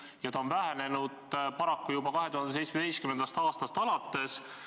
Ja need on vähenenud paraku juba 2017. aastast alates.